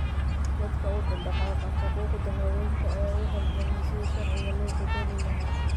Dadka u dhaqdhaqaaqa xuquuqda haweenka ayaa u halgamayay sidii sharciga loo beddeli lahaa.